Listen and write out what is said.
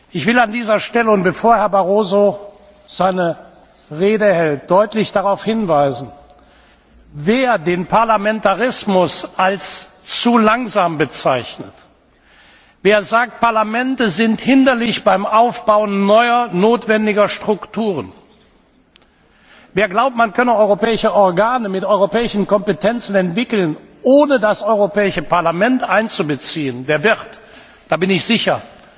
Ich will an dieser Stelle und bevor Herr Barroso seine Rede hält, deutlich darauf hinweisen Wer den Parlamentarismus als zu langsam bezeichnet, wer sagt, Parlamente sind hinderlich beim Aufbau neuer notwendiger Strukturen, wer glaubt, man könne europäische Organe mit europäischen Kompetenzen entwickeln, ohne das Europäische Parlament einzubeziehen, der wird da bin ich sicher